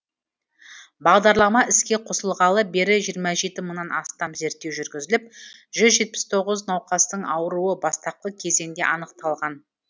бағдарлама іске қосылғалы бері жиырма жеті мыңнан астам зерттеу жүргізіліп жүз жетпіс тоғыз науқастың ауруы бастапқы кезеңде анықталған